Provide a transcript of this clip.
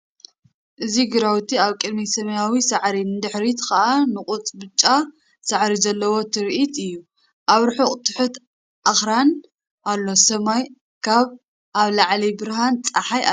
እዚ ግራውቲ ኣብ ቅድሚት ሰማያዊ ሳዕሪ ንድሕሪት ከኣ ንቑፅ ብጫ ሳዕሪ ዘለዎ ትርኢት እዩ ። ኣብ ርሑቕ ትሑት ኣኽራን ኣሎ ሰማይ ከኣ ኣብ ላዕሊ ብርሃን ጸሓይ ኣለዎ።